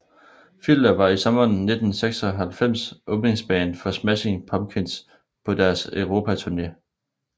Filter var i sommeren 1996 åbningsband for Smashing Pumpkins på deres Europaturné